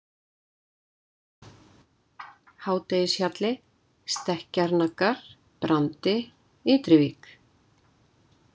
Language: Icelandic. Hádegishjalli, Stekkjarnaggar, Brandi, Ytri-vík